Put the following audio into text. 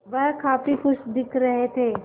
वह काफ़ी खुश दिख रहे थे